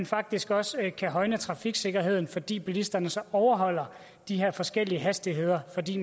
faktisk også højne trafiksikkerheden fordi bilisterne så overholder de her forskellige hastigheder fordi